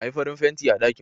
Ayi farin fenti a ɗakin